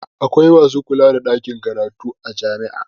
Akwai masu kula da ɗakin karatu a jami'o'i.